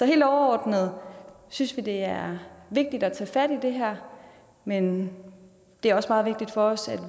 helt overordnet synes vi det er vigtigt at tage fat i det her men det er også meget vigtigt for os at